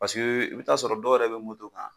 Pasege i bi t'a sɔrɔ dɔw yɛrɛ be moto kan